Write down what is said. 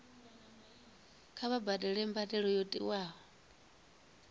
kha vha badele mbadelo yo tiwaho